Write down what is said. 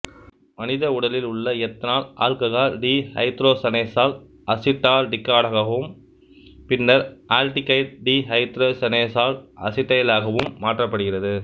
மனித உடலில் உள்ள எத்தனால் ஆல்ககால் டி ஐதரோசனேசால் அசிட்டால்டிகடாகவும் பின்னர் ஆல்டிகைடு டி ஐதரோசனேசால் அசிட்டைலாகவும் மாற்றப்படுகிறது